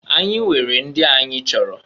Anyị weere ndị anyị chọrọ.